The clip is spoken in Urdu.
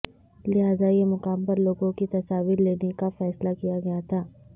لہذا یہ مقام پر لوگوں کی تصاویر لینے کا فیصلہ کیا گیا تھا